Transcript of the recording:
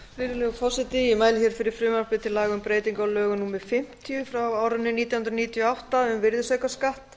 virðulegur forseti ég mæli hér fyrir frumvarpi til laga um breytingu á lögum númer fimmtíu nítján hundruð áttatíu og átta um virðisaukaskatt